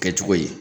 Kɛ cogo yi